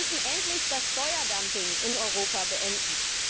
Wir müssen endlich das Steuerdumping in Europa beenden.